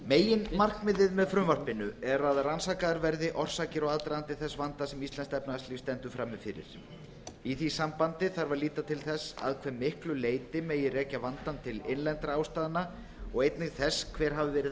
meginmarkmiðið með frumvarpinu er að rannsakaðar verði orsakir og aðdragandi þess vanda sem íslenskt efnahagslíf stendur frammi fyrir í því sambandi þarf að líta til þess að hve miklu leyti megi rekja vandann til innlendra ástæðna og einnig þess hver hafi verið